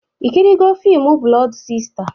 Ị kirịela fimu Blọdu Sista?